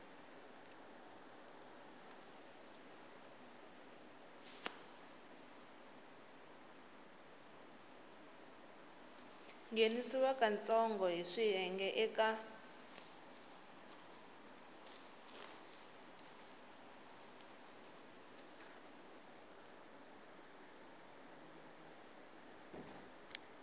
nghenisiwa katsongo hi swiyenge eka